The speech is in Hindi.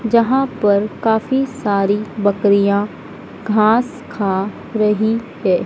जहां पर काफी सारी बकरियां घास खा रही है।